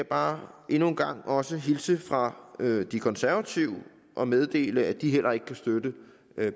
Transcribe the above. bare endnu engang også hilse fra de konservative og meddele at de heller ikke kan støtte